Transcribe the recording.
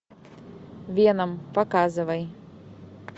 веном показывай